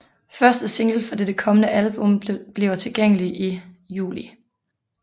Første single fra dette kommende album bliver tilgængelig i juli